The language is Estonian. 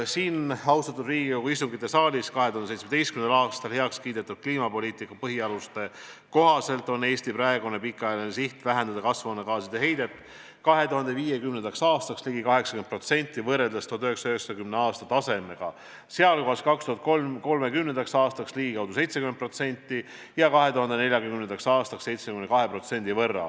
" Siin, austatud Riigikogu istungisaalis 2017. aastal heaks kiidetud kliimapoliitika põhialuste kohaselt on Eesti praegune pikaajaline siht vähendada kasvuhoonegaaside heidet 2050. aastaks ligi 80% võrreldes 1990. aasta tasemega, sh 2030. aastaks ligikaudu 70% ja 2040. aastaks 72%.